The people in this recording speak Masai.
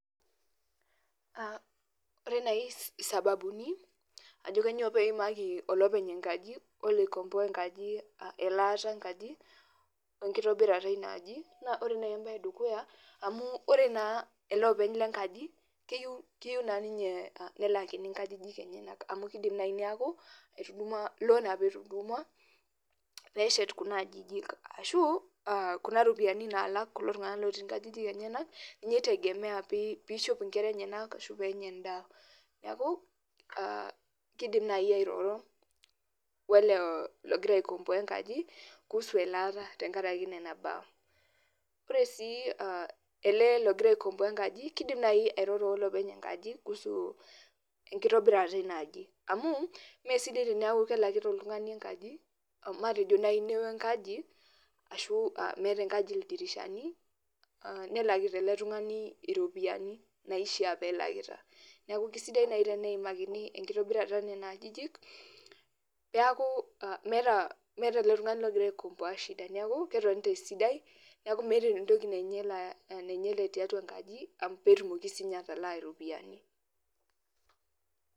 Ore nai sababuni ajo kanyioo peimaki olopeny enkaji oloikomboa enkaji elaata enkaji, wenkitobirata inaaji, na ore nai ebae edukuya amu ore naa ele openy lenkaji, keyieu naa ninye nelaki inkajijik enyanak. Amu kidim nai neeku, etudumua lon apa etudumua peshet kuna ajijik. Ashu, kuna ropiyiani nalak kulo tung'anak inkajijik enyanak, ninye i tegemea pishop inkera enyanak ashu penya endaa. Neeku, kidim nai airoro wele logira aikomboa enkaji, kuhusu elaata tenkaraki nena baa. Ore si ele logira aikomboa enkaji, kidim nai airoro olopeny enkaji kuhusu enkitobirata inaaji. Amuu mesidai teneeku kelakita oltung'ani enkaji, matejo nai newo enkaji, ashu meeta enkaji ildirishani, nelakita ele tung'ani iropiyiani naishaa pelakita. Neeku kisidai nai teneimakini enkitobirata onena ajijik, peeku meeta ele tung'ani logira aikomboa shida. Neeku ketonita esidai, neeku meeta entoki nainyala nainyale tiatua enkaji, petumoki sinye atalaa ropiyiani.